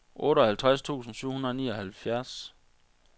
otteoghalvtreds tusind syv hundrede og nioghalvfjerds